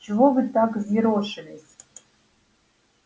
чего вы так взъерошились